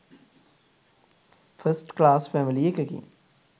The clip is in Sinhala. ෆස්ට් ක්ලාස් ෆැමිලි එකකින්